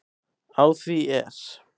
Á því er